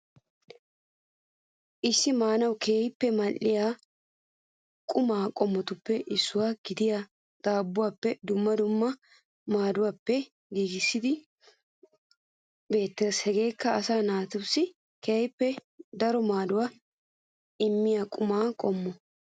Issi maanawu kehippe maadhdhiya quummaa qommotuppe issuwa gidiya daabbuwappene dummaa dummaa madhdhobatuppe giggissido kaattay beettees hegeekka asaa naatussi kehippe daro maadduwa immiya quummaa qoommo